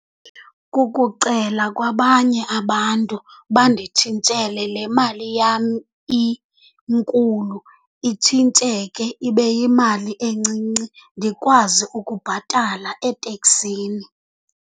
Kukucela kwabanye abantu banditshintshele le mali yam inkulu, itshintsheke ibe yimali encinci ndikwazi ukubhatala eteksini.